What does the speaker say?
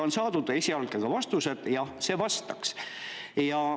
On saadud ka esialgsed vastused, et jah, vastaks.